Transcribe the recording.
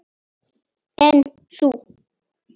En sú